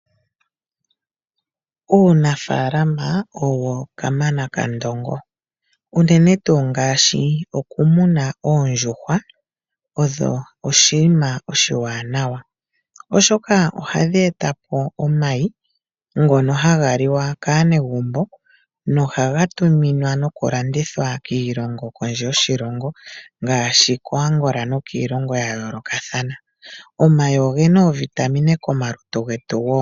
Uunafalama owo kamana ka ndongo uunene tuu ngaashi okumuna oondjuhwa, odho oshinima oshiwanawa oshoka ohadhi eta po omayi ngono haga liwa kaanegumbo nohaga tuminwa nokulandithwa kiilongo kondje yoshilongo ngaashi ko Angola nokiilongo ya yoolokathana. Omayi ogena oovitamine komalutu getu wo.